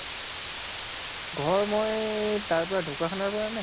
ঘৰ মই তাৰ পৰা ঢ্কুৱাখানাৰ পৰা নে?